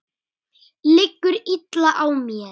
Liggur illa á mér?